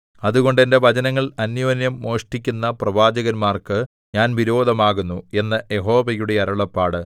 അതുകൊണ്ട് എന്റെ വചനങ്ങൾ അന്യോന്യം മോഷ്ടിക്കുന്ന പ്രവാചകന്മാർക്ക് ഞാൻ വിരോധമാകുന്നു എന്ന് യഹോവയുടെ അരുളപ്പാട്